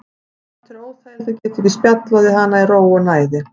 Samt er óþægilegt að geta ekki spjallað við hana í ró og næði.